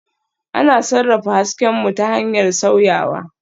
Ana sarrafa hasken mu ta hanyar sauyawa